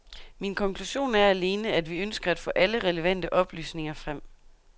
Min konklusion er alene, at vi ønsker at få alle relevante oplysninger frem.